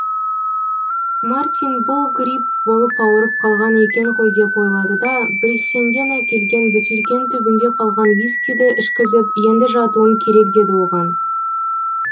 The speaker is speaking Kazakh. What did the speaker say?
мартин бұл грипп болып ауырып қалған екен ғой деп ойлады да бриссенден әкелген бөтелкенің түбінде қалған вискиді ішкізіп енді жатуың керек деді оған